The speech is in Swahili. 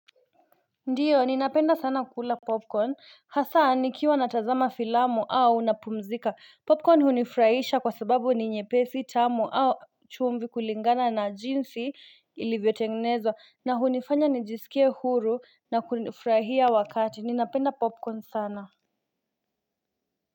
Ndio ninapenda sana kula popcorn hasa nikiwa natazama filamu au napumzika. Popcorn hunifurahisha kwa sababu ni nyepesi tamu au chumvi kulingana na jinsi ilivyotengenezwa na hunifanya nijisikie huru na kufurahia wakati ninapenda popcorn sana.